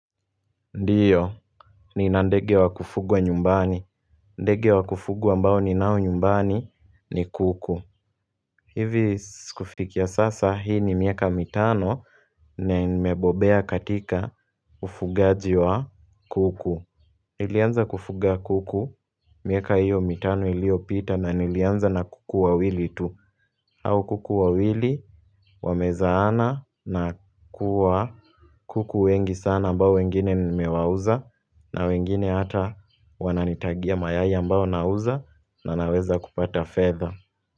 Ndio, ni na ndege wa kufugwa nyumbani ndege wa kufugwa ambao ninao nyumbani ni kuku hivi kufikia sasa hii ni miaka mitano na nimebobea katika ufugaji wa kuku Nilianza kufuga kuku miaka hiyo mitano iliyopita na nilianza na kuku wa wili tu au kuku wawili Wamezaana na kuwa kuku wengi sana ambao wengine nimewauza na wengine hata wananitagia mayai ambao nauza na naweza kupata fedha.